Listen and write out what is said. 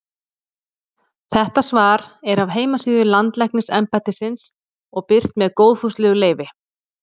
Þetta svar er af heimasíðu Landlæknisembættisins og birt með góðfúslegu leyfi.